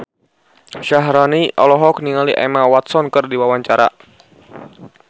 Syaharani olohok ningali Emma Watson keur diwawancara